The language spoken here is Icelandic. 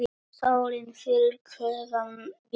Sólin fyllir klefann birtu.